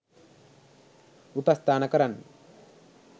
උපස්ථාන කරන්න